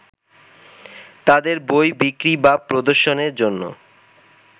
তাঁদের বই বিক্রি/প্রদর্শনের জন্য